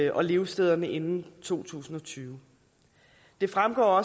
og levestederne inden to tusind og tyve det fremgår